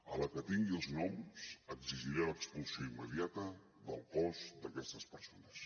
a la que tingui els noms exigiré l’expulsió immediata del cos d’aquestes persones